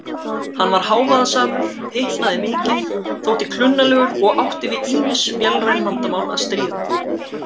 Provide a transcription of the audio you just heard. Hann var hávaðasamur, hitnaði mikið, þótti klunnalegur og átti við ýmis vélræn vandamál að stríða.